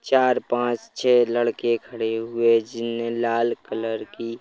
चार पाँच छः लड़के खड़े हुए हैं जिनने लाल कलर की--